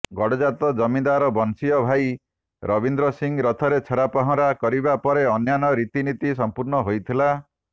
ଗଡ଼ଜାତ ଜମିଦାର ବଂଶୀୟ ଭାଇ ରବୀନ୍ଦ୍ର ସିଂ ରଥରେ ଛେରାପହଁରା କରିବା ପରେ ଅନ୍ୟାନ୍ୟ ରୀତିନୀତି ସମ୍ପର୍ଣ୍ଣ ହୋଇଥିଲା